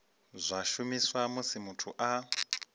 zwa shumiswa musi muthu a